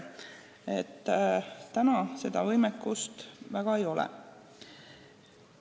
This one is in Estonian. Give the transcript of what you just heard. Praegu seda võimekust väga palju ei ole.